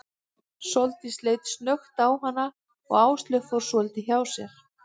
Sóldís leit snöggt á hana og Áslaug fór svolítið hjá sér.